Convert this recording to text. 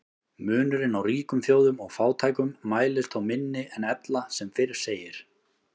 Munurinn á ríkum þjóðum og fátækum mælist þó minni en ella sem fyrr segir.